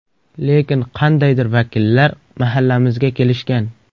Lekin qandaydir vakillar mahallamizga kelishgan.